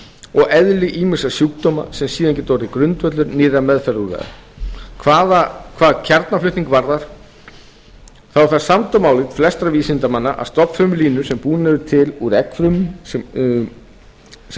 og eðli ýmissa sjúkdóma sem síðan geti orðið grundvöllur nýrra meðferðarúrræða hvað kjarnaflutning varðar er það samdóma álit flestra vísindamanna að stofnfrumulínur sem búnar eru til úr eggfrumum sem